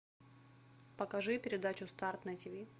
покажи передачу старт на тиви